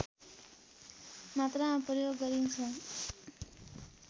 मात्रामा प्रयोग गरिन्छ